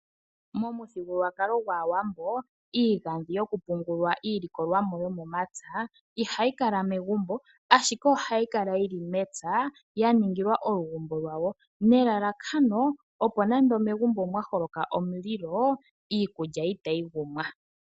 Momuthigululwakalo gwaAawambo iigandhi yokupungulwa iilikolwamo yomomapya ihayi kala megumbo, ashike ohayi kala yi li mepya ya ningilwa olugumbo lwawo nelalakano opo nande megumbo omwa holoka omulilo iikulya itayi gumwa.